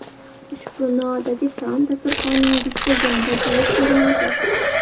Ushbu noodatiy taom dasturxoningizda yanada ajoyib ko‘rinadi.